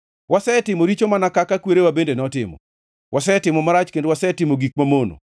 Wasetimo richo mana kaka kwerewa bende notimo; wasetimo marach kendo wasetimo gik mamono.